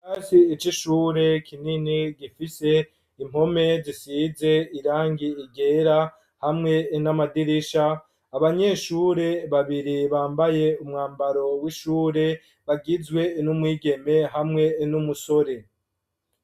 Ikirasi c'ishure kinini gifise impome zisize irangi ryera hamwe n'amadirisha abanyeshure babiri bambaye umwambaro w'ishure bagizwe n'umwigeme hamwe n'umusore.